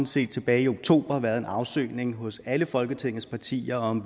set tilbage i oktober var en afsøgning hos alle folketingets partier om